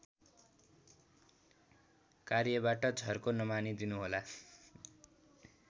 कार्यबाट झर्को नमानिदिनुहोला